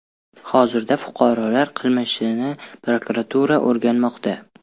Hozirda fuqarolar qilmishini prokuratura o‘rganmoqda.